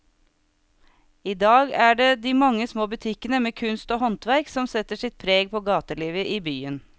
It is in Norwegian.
I dag er det de mange små butikkene med kunst og håndverk som setter sitt preg på gatelivet i byen.